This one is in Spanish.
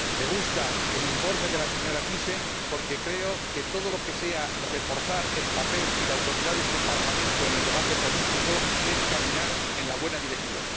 Señor Presidente, me gusta el informe de la señora Thyssen porque creo que todo lo que sea reforzar el papel y la autoridad de este Parlamento en el debate político es caminar en la buena dirección.